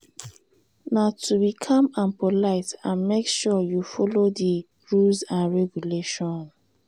na to be calm and polite and make sure you follow di rules and regulations.